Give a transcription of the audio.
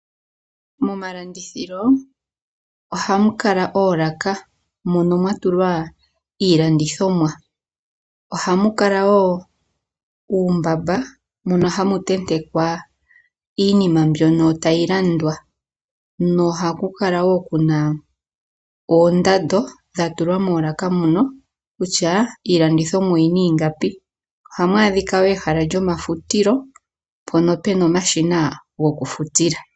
Momalandithilo ohamu kala oolaka mono mwa tulwa iilandithomwa. Ohamu kala wo uumbamba mono hamu tentekwa iinima mbyono tayi landwa. Nohaku kala wo kuna oondando dha tulwa moolaka mono kutya iilandithomwa oyina ingapi. Ohamu adhika wo ehala lyomafutilo mpono pena omashina gokufutila.